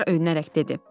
Çinar öyünərək dedi: